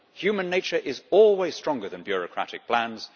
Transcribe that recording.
Human nature is always stronger than bureaucratic plans.